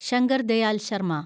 Shankar Dayal Sharma